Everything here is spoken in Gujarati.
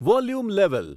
volume level